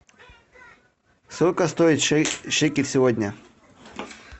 сколько стоит шекель сегодня